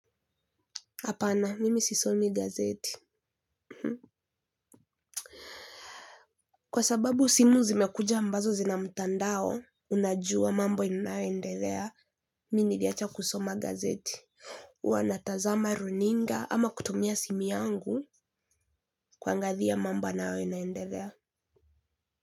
Hapana, mimi sisomi gazeti. Kwa sababu simu zimekuja ambazo zina mtandao, unajua mambo inayoendelea. Mimi niliacha kusoma gazeti. Wanatazama runinga ama kutumia simu yangu kuangalia mambo yanayo inaendelea.